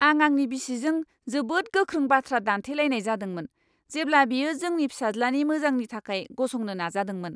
आं आंनि बिसिजों जोबोद गोख्रों बाथ्रा दान्थेलायनाय जादोंमोन, जेब्ला बियो जोंनि फिसाज्लानि मोजांनि थाखाय गसंनो नाजादोंमोन!